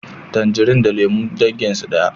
Tanjari da lemu dangin su daya